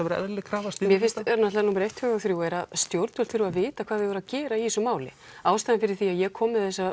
vera eðlileg krafa númer eitt tvö og þrjú er að stjórnvöld þurfa að vita hvað þau eiga að að gera í þessu máli ástæðan fyrir því að ég kom með þessa